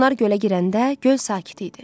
Onlar gölə girəndə göl sakit idi.